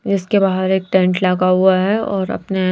इसके बाहर एक टेंट लगा हुआ है और अपने--